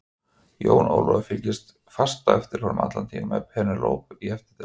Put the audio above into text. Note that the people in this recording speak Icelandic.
Jón Ólafur fylgdi fast á eftir honum allan tímann með Penélope í eftirdragi.